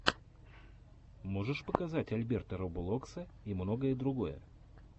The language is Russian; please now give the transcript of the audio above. можешь показать альберта роболокса и многое другое